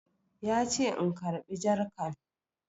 Ya ce in karɓi jarkan